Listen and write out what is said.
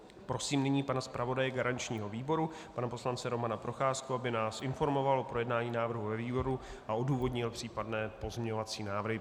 Prosím nyní pana zpravodaje garančního výboru, pana poslance Romana Procházku, aby nás informoval o projednání návrhu ve výboru a odůvodnil případné pozměňovací návrhy.